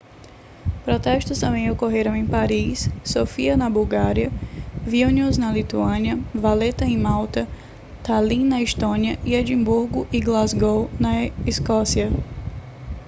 protestos também ocorreram em paris sofia na bulgária vilnius na lituânia valetta em malta tallinn na estônia e edimburgo e glasgow na escócia